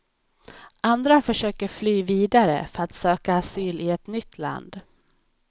Andra försöker fly vidare för att söka asyl i ett nytt land.